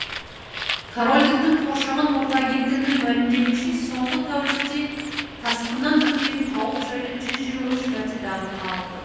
корольдіктің қоршаған орта агенттігінің мәлімдеуінше соңғы тәулікте тасқыннан төнген қауіп жайлы жүз жиырма үш мәрте дабыл қағылды